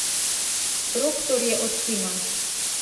Proktor je odkimal.